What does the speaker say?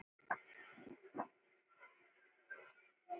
JÓN BEYKIR: Áttu við.